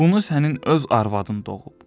Bunu sənin öz arvadın doğub.